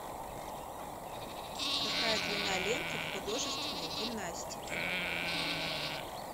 какая длина ленты в художественной гимнастике